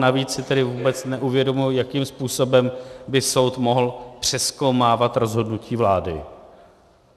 Navíc si tedy vůbec neuvědomuji, jakým způsobem by soud mohl přezkoumávat rozhodnutí vlády.